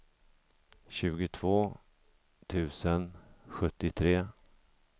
tjugotvå tusen sjuttiotre